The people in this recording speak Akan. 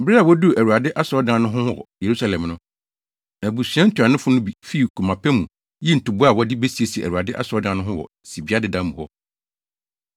Bere a woduu Awurade asɔredan no ho wɔ Yerusalem no, abusua ntuanofo no bi fii koma pa mu yii ntoboa a wɔde besiesie Awurade asɔredan no wɔ ne sibea dedaw mu hɔ.